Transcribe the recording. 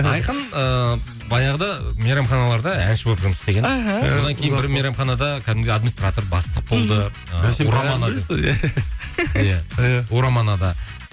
айқын ыыы баяғыда мейрамханаларда әнші болып жұмыс істеген мхм содан кейін бір мейрамханада кәдімгідей администратор бастық болды мхм ураманада